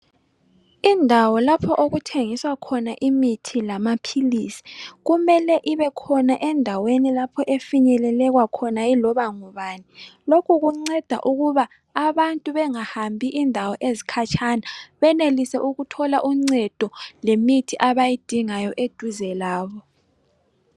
Indawo lapho okuthengiswa khona imithi lamaphilisi kumele ibe khona endaweni lapho efinyelelekwa khona iloba ngubani. Lokhu kunceda ukuba abantu bengahambi indawo ezikhatshana, benelise ukuthola uncedo lemithi abayidingayo eduze labo.